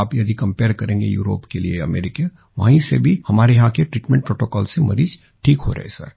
आप यदि कंपेयर करेंगे यूरोप के लिए अमेरिका वही से हमारे यहाँ के ट्रीटमेंट प्रोटोकॉल से मरीज ठीक हो रहे है सर